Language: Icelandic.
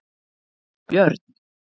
Björn